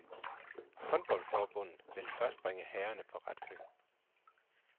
Håndboldforbundet vil først bringe herrerne på ret køl.